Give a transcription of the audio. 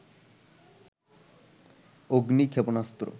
অগ্নি ক্ষেপণাস্ত্র